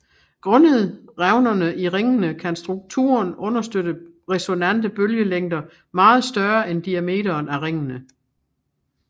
Grundet revnerne i ringene kan strukturen understøtte resonante bølgelængder meget større end diameteren af ringene